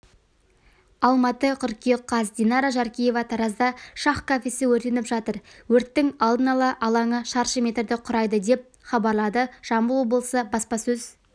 алматы қыркүйек қаз динара жаркеева таразда шах кафесі өртеніп жатыр өрттің алдын-ала алаңы шаршы метрді құрайды деп хабарлады жамбыл облысы баспасөз